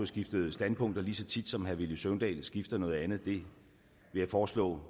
skiftet standpunkt lige så tit som herre villy søvndal skifter noget andet jeg foreslår